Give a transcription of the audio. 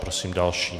Prosím další.